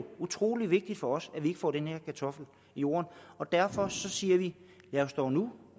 utrolig vigtigt for os at vi ikke får den her kartoffel i jorden og derfor siger vi lad os dog nu